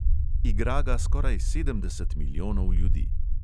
Igra ga skoraj sedemdeset milijonov ljudi.